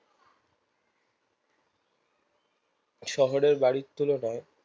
শহরের বাড়ির তুলনায়